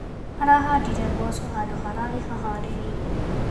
Arahandire mboco handũ hararĩ haharĩrie.